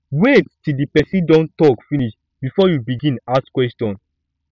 wait til di pesin don tok finish bifor you begin ask question